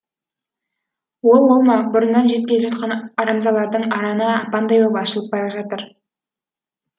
ол олма бұрыннан жеп келе жатқан арамзалардың араны апандай боп ашылып бара жатыр